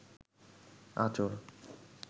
আঁচল